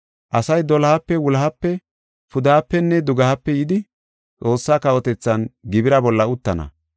Asay dolohape, wulohape, pudehapenne dugehape yidi Xoossaa kawotethan gibira bolla uttana.